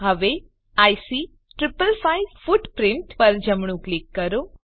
હવે IC 555 footprint પર જમણું ક્લિક કરો